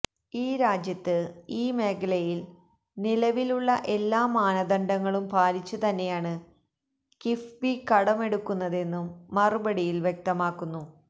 ഈ രാജ്യത്ത് ഈ മേഖലയില് നിലവിലുള്ള എല്ലാ മാനദണ്ഡങ്ങളും പാലിച്ചു തന്നെയാണ് കിഫ്ബി കടമെടുക്കുന്നതെന്നും മറുപടിയില് വ്യക്തമാക്കുന്നു